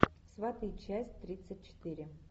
сваты часть тридцать четыре